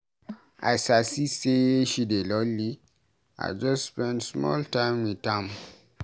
As I see sey she dey Lonely, I just spend small time wit am.